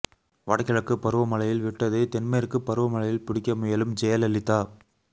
வட கிழக்குப் பருவ மழையில் விட்டதை தென் மேற்குப் பருவ மழையில் பிடிக்க முயலும் ஜெயலலிதா